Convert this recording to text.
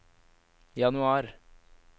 januar